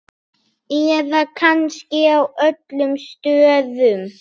Eða kannski á öllum stöðum?